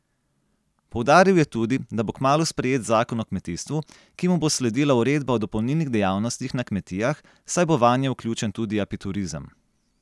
Poudaril je tudi, da bo kmalu sprejet zakon o kmetijstvu, ki mu bo sledila uredba o dopolnilnih dejavnostih na kmetijah, saj bo vanje vključen tudi apiturizem.